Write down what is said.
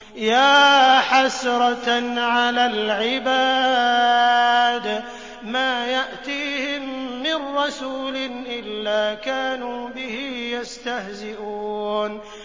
يَا حَسْرَةً عَلَى الْعِبَادِ ۚ مَا يَأْتِيهِم مِّن رَّسُولٍ إِلَّا كَانُوا بِهِ يَسْتَهْزِئُونَ